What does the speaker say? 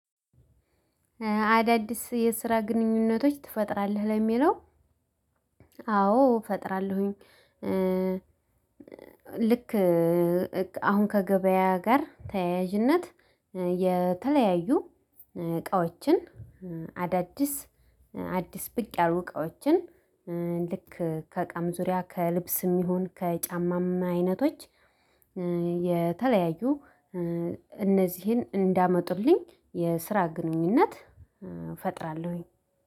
አዳዲስ የስራ ግንኙነቶች ትፈጥራለህ ለሚለው? አዎ ፈጥራለሁኝ። ልክ አሁን ከገበያ ጋር ተያያዥነት የተለያዩ እቃዎችን አዳዲስ አዲስ ብቅ ያሉ እቃዎችን ልክ ከእቃም ዙሪያ ከልብስም ይሁን ከጫማም አይነቶች የተለያዩ እነዚህን እንዲያመጡልኝ የስራ ግንኙነት እፈጥራለሁኝ።